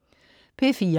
P4: